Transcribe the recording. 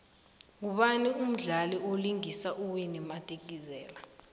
ngubani umdlali vlingisa uwinnie madikizela